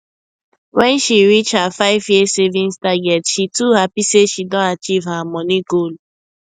when she reach her 5year savings target she too happy say she don achieve her money goal